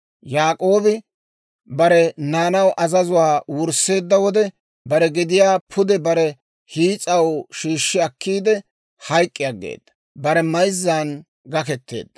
Yaak'oobi bare naanaw azazuwaa wursseedda wode, bare gediyaa pude bare hiis'aw shiishshi akkiidde, hayk'k'i aggeeda; bare mayzzan gaketeedda.